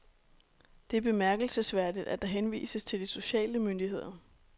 Det er bemærkelsesværdigt, at der henvises til de sociale myndigheder.